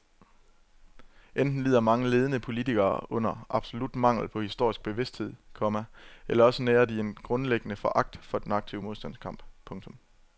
Enten lider mange ledende politikere under absolut mangel på historisk bevidsthed, komma eller også nærer de grundlæggende foragt for den aktive modstandskamp. punktum